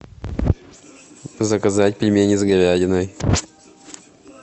заказать пельмени с говядиной